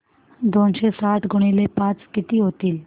दोनशे साठ गुणिले पाच किती होतात